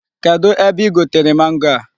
Kedụ ebe i gotere mango a?